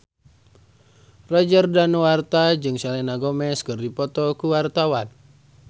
Roger Danuarta jeung Selena Gomez keur dipoto ku wartawan